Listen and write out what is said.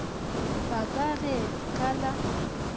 ba ka ge ka la